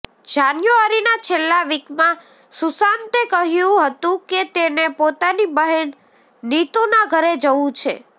જાન્યુઆરીના છેલ્લા વીકમાં સુશાંતે કહ્યુ હતુ કે તેને પોતાની બહેન નીતુના ઘરે જવુ છે